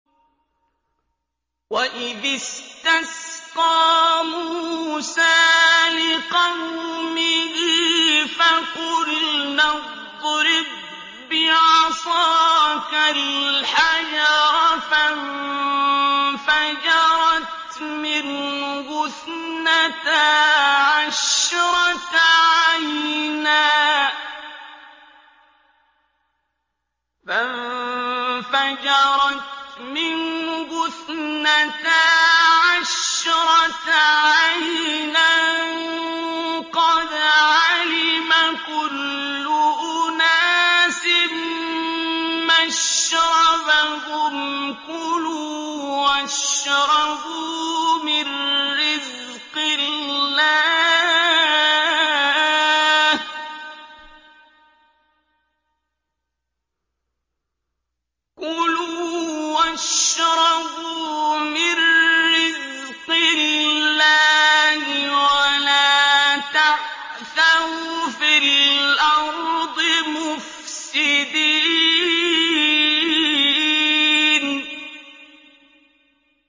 ۞ وَإِذِ اسْتَسْقَىٰ مُوسَىٰ لِقَوْمِهِ فَقُلْنَا اضْرِب بِّعَصَاكَ الْحَجَرَ ۖ فَانفَجَرَتْ مِنْهُ اثْنَتَا عَشْرَةَ عَيْنًا ۖ قَدْ عَلِمَ كُلُّ أُنَاسٍ مَّشْرَبَهُمْ ۖ كُلُوا وَاشْرَبُوا مِن رِّزْقِ اللَّهِ وَلَا تَعْثَوْا فِي الْأَرْضِ مُفْسِدِينَ